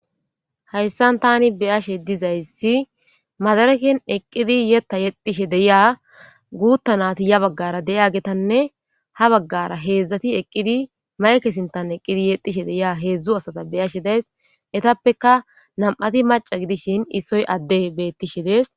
Hayssan tani beyashe dizayssi madarekin eqqidi yetta yexishe deyiya guutta nati ya baggara deya geetanne ha baggara heedzdzati eqqidi ma'eke sintan eqqidi yexishe deyia heedzdzu asata beyashe days etappeka nam'ati maca gidishin issoy adde beettishe dees.